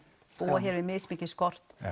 búa hér við mismikinn skort